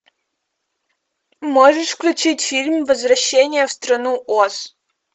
можешь включить фильм возвращение в страну оз